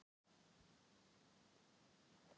Hugrún Halldórsdóttir: Hvernig líst ykkur á daginn?